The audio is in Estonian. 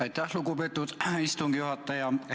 Aitäh, lugupeetud istungi juhataja!